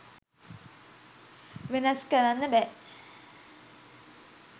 වෙනස් කරන්න බෑ.